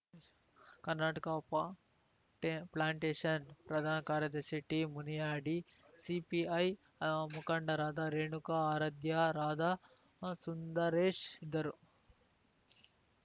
ಕರ್ನಾಟಕ ಪಾಟಾ ಪ್ಲಾಂಟೇಶನ್‌ ಪ್ರಧಾನ ಕಾರ್ಯದರ್ಶಿ ಟಿಮುನಿಯಾಡಿ ಸಿಪಿಐ ಮುಖಂಡರಾದ ರೇಣುಕಾ ಆರಾಧ್ಯ ರಾಧಾ ಸುಂದರೇಶ್‌ ಇದ್ದರು